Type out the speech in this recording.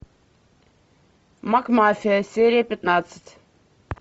макмафия серия пятнадцать